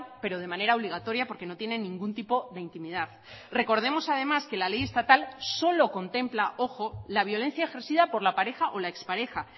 pero de manera obligatoria porque no tienen ningún tipo de intimidad recordemos además que la ley estatal solo contempla ojo la violencia ejercida por la pareja o la expareja